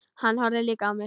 Hann horfði líka á mig.